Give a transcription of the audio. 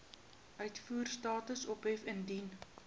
uitvoerstatus ophef indien